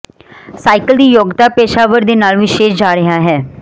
cycle ਦੀ ਯੋਗਤਾ ਪੇਸ਼ਾਵਰ ਦੇ ਨਾਲ ਵਿਸ਼ੇਸ਼ ਜਾ ਰਿਹਾ ਹੈ